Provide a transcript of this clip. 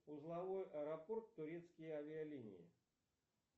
узловой аэропорт турецкие авиалинии